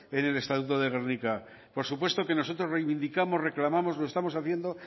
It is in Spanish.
en el estatuto de gernika por supuesto que nosotros reivindicamos y reclamamos lo estamos haciendo